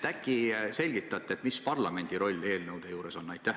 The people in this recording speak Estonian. Äkki selgitate, mis parlamendi roll eelnõude juures on?